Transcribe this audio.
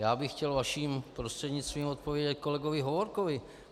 Já bych chtěl vaším prostřednictvím odpovědět kolegovi Hovorkovi.